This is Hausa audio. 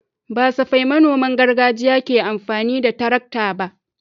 Ba safai manoman gargajiya ke amfani da tarakta ba.